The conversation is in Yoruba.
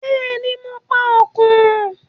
Bẹ́ẹ̀ni, mo pa Òkùnrùn.